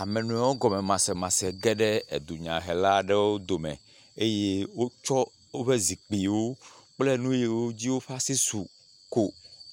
Ame nɔewo gɔmemasemase geɖe edunyahela aɖewo dome eye wotsɔ woƒe zikpuiwo kple nu yiwo ko woƒe asi su ko